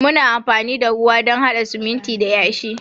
Muna amfani da ruwa don hada sumunti da yashi.